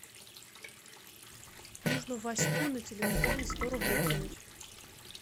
нужно ваську на телефон сто рублей кинуть